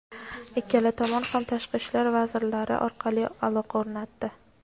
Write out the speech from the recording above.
Ikkala tomon ham tashqi ishlar vazirlari orqali aloqa o‘rnatdi.